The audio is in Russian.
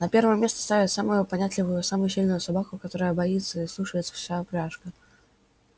на первое место ставят самую понятливую и самую сильную собаку которой боится и слушается вся упряжка